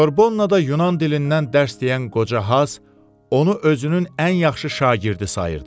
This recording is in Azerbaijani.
Sorbonnada Yunan dilindən dərs deyən qoca Haz onu özünün ən yaxşı şagirdi sayırdı.